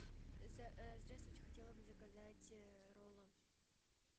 здравствуйте хотела бы заказать роллы